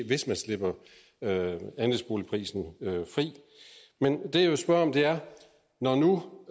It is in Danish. hvis man slipper andelsboligprisen fri men det jeg vil spørge om er når nu